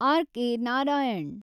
RK. Narayan